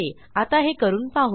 आता हे करून पाहू